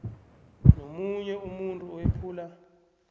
nomunye umuntu owephula